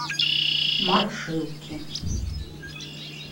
машинки